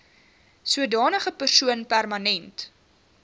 sodanige persoon permanent